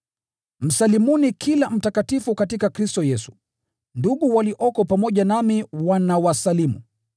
Msalimuni kila mtakatifu katika Kristo Yesu. Ndugu walioko pamoja nami wanawasalimu.